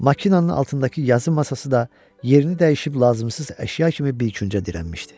Maşının altındakı yazı masası da yerini dəyişib lazımsız əşya kimi bir küncə dirənmişdi.